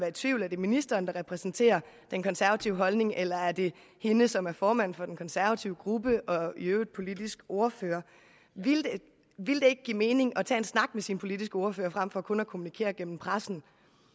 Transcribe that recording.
i tvivl er det ministeren der repræsenterer den konservative holdning eller er det hende som er formand for den konservative gruppe og i øvrigt politisk ordfører ville det ikke give mening at tage en snak med sit partis politiske ordfører frem for kun at kommunikere gennem pressen